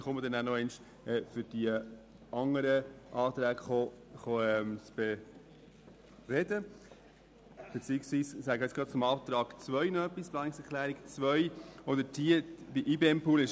Ich werde mich später zu den anderen Anträgen äussern, sage aber noch etwas zum Antrag 2 betreffend den IBEMPool.